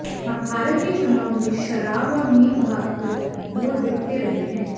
भारत के चुनावों में शराब और मीट भात पर वोट बिकते रहे हैं